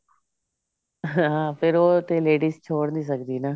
ਹਾਂ ਫੇਰ ਉਹ ਉੱਥੇ ladies ਛੋੜ ਨਹੀਂ ਸਕਦੀ ਨਾ